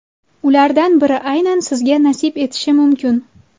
Ulardan biri aynan sizga nasib etishi mumkin.